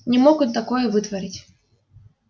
не мог он такое вытворить